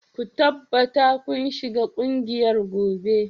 Ku tabbata kun shiga kungiyar gobe